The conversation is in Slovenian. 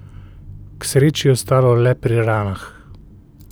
K sreči je ostalo le pri ranah.